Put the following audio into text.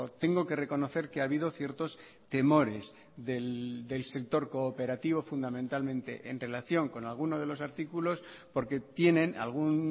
tengo que reconocer que ha habido ciertos temores del sector cooperativo fundamentalmente en relación con alguno de los artículos porque tienen algún